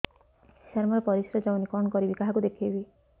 ସାର ମୋର ପରିସ୍ରା ଯାଉନି କଣ କରିବି କାହାକୁ ଦେଖେଇବି